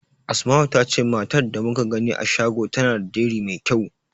Asma'u ta ce matar da muka gani a shago tana da diri mai kyau.